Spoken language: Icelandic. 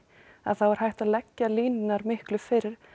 er hægt að leggja línurnar miklu fyrr